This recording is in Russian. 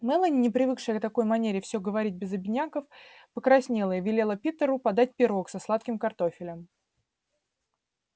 мелани не привыкшая к такой манере всё говорить без обиняков покраснела и велела питеру подать пирог со сладким картофелем